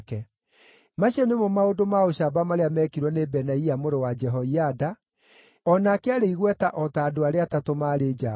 Macio nĩmo maũndũ ma ũcamba marĩa meekirwo nĩ Benaia mũrũ wa Jehoiada; o nake aarĩ igweta o ta andũ arĩa atatũ maarĩ njamba.